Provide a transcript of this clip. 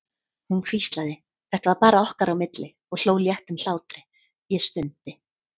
Hún hvíslaði, þetta var bara okkar á milli, og hló léttum hlátri, ég stundi.